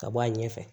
Ka bɔ a ɲɛfɛ